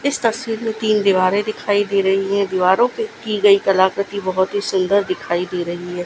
इ स तस्वीर में तीन दीवारें दिखाई दे रही हैं दीवारों पर की गई कलाकृति बहोत ही सुंदर दिखाई दे रही है।